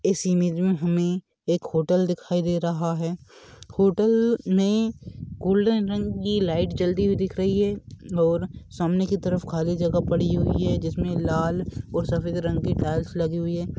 इस इमेज मे हमे एक होटल दिखाई दे रहा है होटल मे गोल्डन रंग की लाइट जलती हुई दिख रही है और सामने की तरफ खाली जगह पड़ी हुई है जिस मे लाल और सफेद रंग की टाइल्स लगी हुई है।